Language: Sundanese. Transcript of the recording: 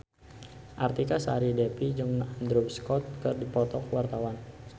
Artika Sari Devi jeung Andrew Scott keur dipoto ku wartawan